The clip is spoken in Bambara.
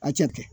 A cɛ kɛ